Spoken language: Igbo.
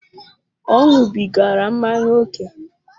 Ọ ñubigara mmanya ókè